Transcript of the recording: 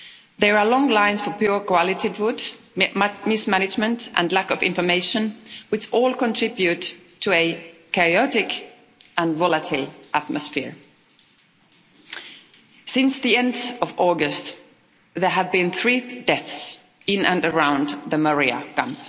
There are long lines for poor quality food, mismanagement and lack of information which all contribute to a chaotic and volatile atmosphere. Since the end of August there have been three deaths in and around the Moria camp.